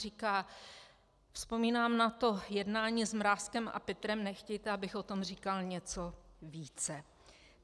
Říká: "Vzpomínám na to jednání s Mrázkem a Pitrem, nechtějte, abych o tom říkal něco více."